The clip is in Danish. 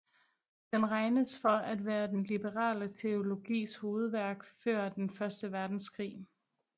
Den regnes for at være den liberale teologis hovedværk før den første verdenskrig